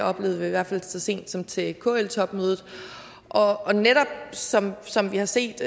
oplevede vi i hvert fald så sent som til kl topmødet og som som vi har set